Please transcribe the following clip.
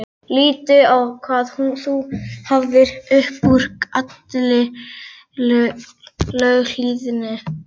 Líttu á hvað þú hafðir upp úr allri löghlýðninni.